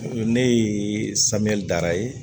Ne ye samiya dara